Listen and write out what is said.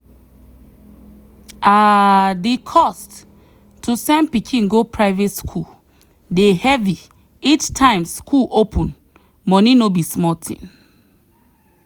um the cost to send pikin go private school dey heavy each time school open money no be small thing.